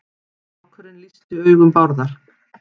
Strákurinn lýsti augum Bárðar.